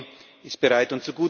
Die EVP ist bereit.